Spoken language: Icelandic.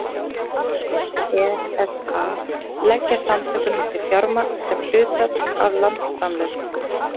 Öll aðildarríki ESA leggja samtökunum til fjármagn sem hlutfall af landsframleiðslu.